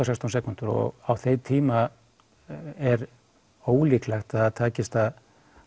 sextán sekúndur og á þeim tíma er ólíklegt að það takist að